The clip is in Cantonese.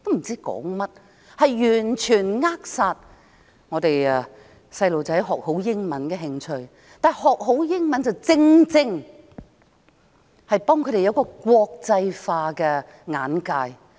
這完全扼殺掉小孩子學好英語的興趣，但學好英文，正正能夠幫助他們培養國際化的眼界。